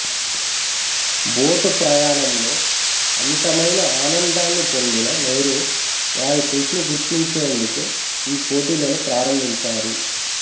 boat ప్రయాణంలో అమితమైన ఆనందాన్ని పొందిన నె్రహూ వారి కృషిని గుర్తించేందుకు ఈ పోటీలని ప్రారంభించారు